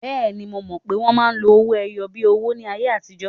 Bẹ́ẹ̀ni, mo mọ̀ pé wọ́n máa ń lo owó-ẹyọ bíi owó ní ayé àtijọ́.